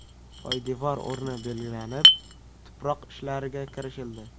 Poydevor o‘rni belgilanib, tuproq ishlariga kirishildi.